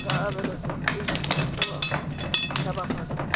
ka abelwa setefikeiti sa tshabafatso